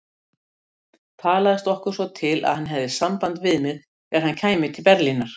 Talaðist okkur svo til, að hann hefði samband við mig, þegar hann kæmi til Berlínar.